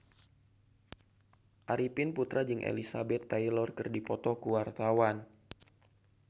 Arifin Putra jeung Elizabeth Taylor keur dipoto ku wartawan